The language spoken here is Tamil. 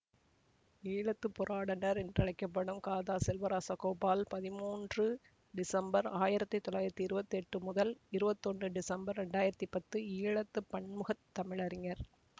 ஈழத்து பூராடனர் என்று அழைக்க படும் க தா செல்வராசகோபால் பதிமூன்று டிசம்பர் ஆயிரத்தி தொள்ளாயிரத்தி இருபத்தி எட்டு முதல் இருபத்தி ஒன்று டிசம்பர் இரண்டு ஆயிரத்தி பத்து ஈழத்து பன்முகத் தமிழறிஞர்